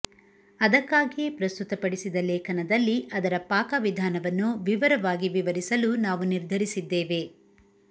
ಅದಕ್ಕಾಗಿಯೇ ಪ್ರಸ್ತುತಪಡಿಸಿದ ಲೇಖನದಲ್ಲಿ ಅದರ ಪಾಕವಿಧಾನವನ್ನು ವಿವರವಾಗಿ ವಿವರಿಸಲು ನಾವು ನಿರ್ಧರಿಸಿದ್ದೇವೆ